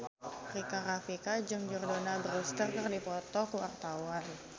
Rika Rafika jeung Jordana Brewster keur dipoto ku wartawan